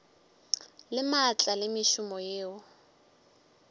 le maatla le mešomo yeo